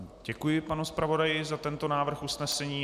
Děkuji panu zpravodaji za tento návrh usnesení.